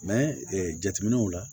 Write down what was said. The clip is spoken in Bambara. jateminɛw la